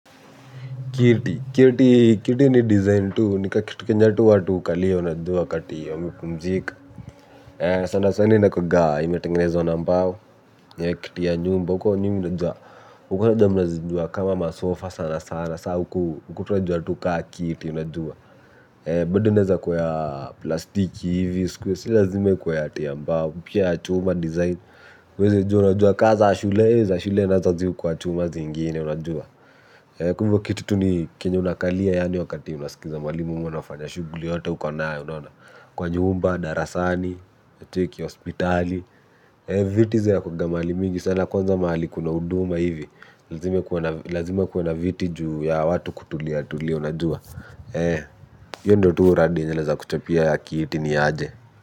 Kiti, kiti ni design tu, ni kakiti kenye watu hukalia, unajua wakati wamepumzika. Sana sana inakuaga imetengenezwa na mbao kiti ya nyumba huko nyi mnajua huko labda mnajua kama masofa sana sana sa huku tunajua tu kama kiti. Bado inaeneza kuwa ya plastiki hivi, isikuwe, si lazime ikuwe ati ya mbao, pia ya chuma design. Huwezi jua, unajua kaa za, shule za, shule nazo zi hukuwa chuma zingine, unajua. Kwa hivyo kiti tu ni kenya unakalia yaani wakati unasikiza mwalimu ama unafanya shuguli yote uko nayo unaona kwa nyumba, darasani, cheki, hospitali. Viti zo hukuwaga mahali mingi sana kwanza mahali kuna huduma hivi. Lazime kuwe na viti juu ya watu kutulia tulia unajua. Hiyo ndo tu uradi yenye naeza kuchapia ya kiiti niaje.